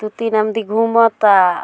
दू-तीन आदमी घुमता।